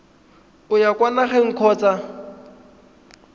o ya kwa nageng kgotsa